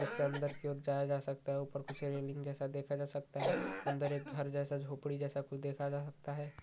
इससे अंदर की ओर जाया जा सकता है ऊपर कुछ रेलिंग जैसा देखा जा सकता है अंदर एक घर जैसा झोपड़ी जैसा कुछ देखा जा सकता है।